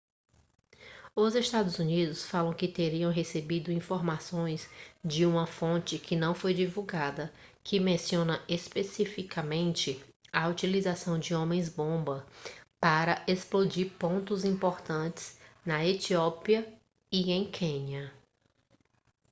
os estados unidos falam que teriam recebido informações de uma fonte que não foi divulgada que menciona especificamente a utilização de homens-bomba para explodir pontos importantes na etiópia e em quênia